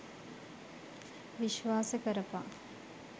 විශ්වාස කරපං